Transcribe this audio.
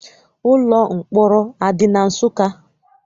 Ụlọ mkpọrọ adị na Nsụka?